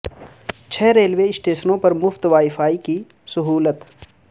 چھ ریلوے اسٹیشنوں پر مفت وائی فائی کی سہولت